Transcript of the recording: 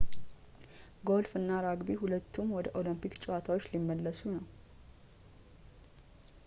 ጎልፍ እና ራግቢ ሁለቱም ወደ ኦሎምፒክ ጨዋታዎች ሊመለሱ ነው